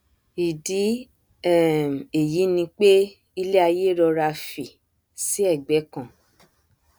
ìdí um èyí ni pé iléaiyé rọra fì sí egbẹ kan